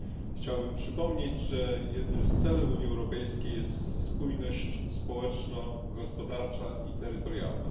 Chciałbym przypomnieć, że jednym z celów Unii Europejskiej jest spójność społeczno gospodarcza i terytorialna.